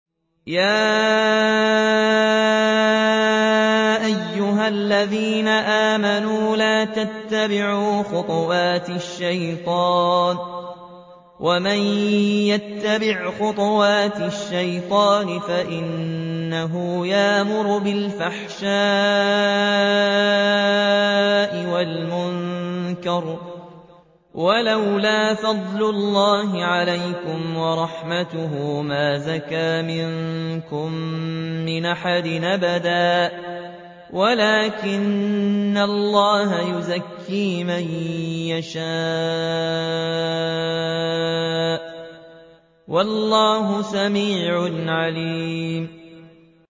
۞ يَا أَيُّهَا الَّذِينَ آمَنُوا لَا تَتَّبِعُوا خُطُوَاتِ الشَّيْطَانِ ۚ وَمَن يَتَّبِعْ خُطُوَاتِ الشَّيْطَانِ فَإِنَّهُ يَأْمُرُ بِالْفَحْشَاءِ وَالْمُنكَرِ ۚ وَلَوْلَا فَضْلُ اللَّهِ عَلَيْكُمْ وَرَحْمَتُهُ مَا زَكَىٰ مِنكُم مِّنْ أَحَدٍ أَبَدًا وَلَٰكِنَّ اللَّهَ يُزَكِّي مَن يَشَاءُ ۗ وَاللَّهُ سَمِيعٌ عَلِيمٌ